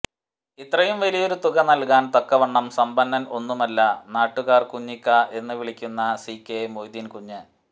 ഇത്രയും വലിയൊരു തുക നൽകാൻ തക്കവണ്ണം സമ്പന്നൻ ഒന്നുമല്ല നാട്ടുകാർ കുഞ്ഞിക്ക എന്ന് വിളിക്കുന്ന സി കെ മൊയ്തീൻകുഞ്ഞ്